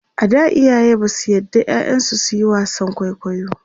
a da iyaye Basu yards ƴaƴan su suyi wasan kwaikwayo